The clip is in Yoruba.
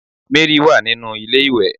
Mary wa ninu ilé iwe